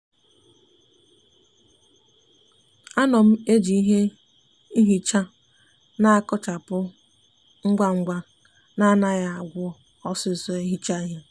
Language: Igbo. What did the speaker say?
a no m eji ihe nhicha n'akochapu ngwangwa na anaghi agwu osiso ehicha ihe.